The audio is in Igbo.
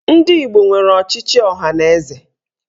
Ndị Igbo nwere ọchịchị ọhaneze.